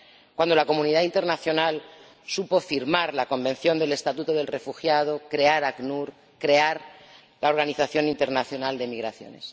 cuando la comunidad internacional supo firmar la Convención sobre el Estatuto de los Refugiados, crear el ACNUR, crear la Organización Internacional para las Migraciones.